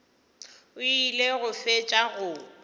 o ile go fetša go